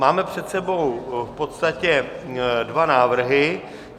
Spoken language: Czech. Máme před sebou v podstatě dva návrhy.